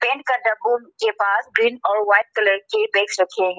Paint के डब्बो के पास ग्रीन और व्हाइट कलर के बैग्स रखे हैं।